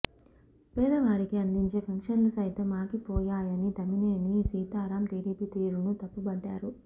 పేదవారికి అందించే పెన్షన్లు సైతం ఆగిపోయాయని తమ్మినేని సీతారాం టిడిపి తీరును తప్పుబట్టారు